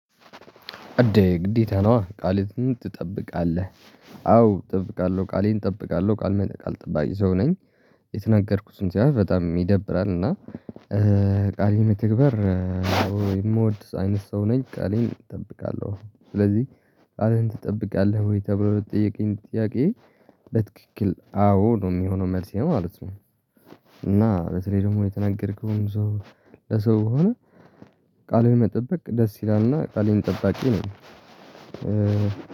እንዴ ግዴታ ነው አ ቃልህን ትጠብቃለህ አዎ እጠብቃለሁ ቃሌን እጠብቃለሁ ቃል መነቃቅ ጠባቂ ሰው ነኝ። የተናገርኩትን ያዩት በጣም ይደብራል እና ቃሌ መተግበር። የምወድ አይነት ሰው ነኝ ቃሌን እጠብቃለሁ ስለዚህ ቃልህን ትጠብቃለህ ወይ ተብሎ ልትጠይቀኝ ጥያቄ? ለትክክል አዎ ነው የሚሆነው መልሴ ማለት ነው። እና በተለይ ደግሞ የተናገርከውም ሰው ለሰው ከሆነ። ቃሌን መጠበቅ ደስ ይላልና ቃሌን ጠባቂ ነኝ።